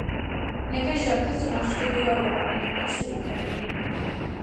Nekaj žrtev so našli tudi v Evropi, največ v Ukrajini.